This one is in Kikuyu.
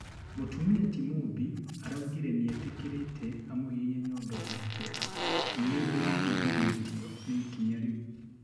mũtumia ti Mumbi araugire nĩetikĩrĩte amuhihinye nyondo yake, nindirarigĩthĩtio nĩ ĩkinya rĩu